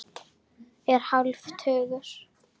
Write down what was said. Er hálfur tugur.